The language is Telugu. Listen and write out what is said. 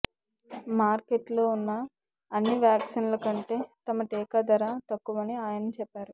మార్కెట్లో ఉన్న అన్ని వ్యాక్సిన్ల కంటే తమ టీకా ధర తక్కువని ఆయన చెప్పారు